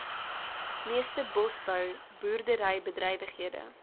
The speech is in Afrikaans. meeste bosbou boerderybedrywighede